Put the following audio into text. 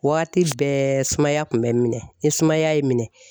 Waati bɛɛ sumaya kun bɛ n minɛ, ni sumaya ye n minɛ